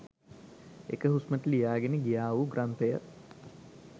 එක හුස්මට ලියා ගෙන ගියා වූ ග්‍රන්ථ ය